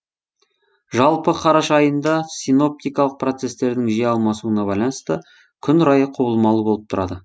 жалпы қараша айында синоптикалық процесстердің жиі алмасуына байланысты күн райы құбылмалы болып тұрады